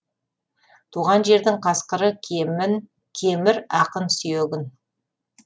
туған жердің қасқыры кемір ақын сүйегін